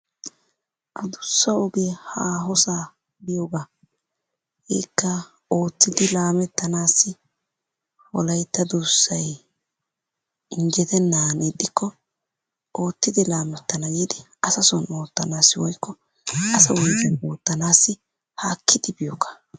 Addussa ogiya haahossaa biyogaa, hegeekka oottidi laamettanaassi wolaytta duussay injjettenaan ixxikko oottidi laamettana giidi asa soon oottanaassi woykko asa wugen oottanaassi haakkidi biyogaa.